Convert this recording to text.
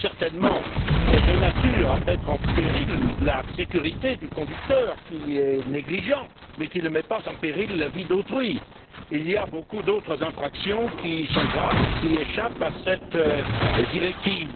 Ceci est certainement de nature à mettre en péril la sécurité du conducteur, qui est négligent, mais ne met pas en péril la vie d'autrui. Il y a beaucoup d'autres infractions graves et qui échappent à cette directive.